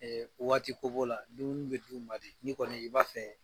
waati ko b'o la dumuni bɛ d'u ma de ni kɔni i b'a fɛ